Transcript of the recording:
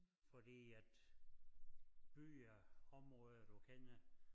Fordi at byer områder du kender